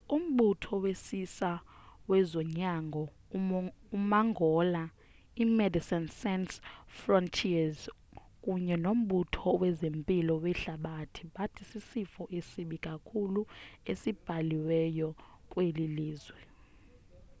umbutho wesisa wezonyango umangola imedecines sans frontieres kunye nombutho wezempilo wehlabathi bathi sisifo esibi kakhulu esibhaliweyo kweli lizwe